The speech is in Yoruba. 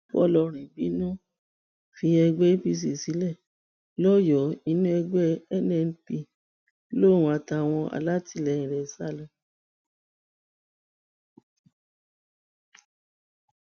fọlọrìn bínú fi ẹgbẹ apc sílẹ lọyọọ inú ẹgbẹ nnp lòun àtàwọn alátìlẹyìn rẹ sá lọ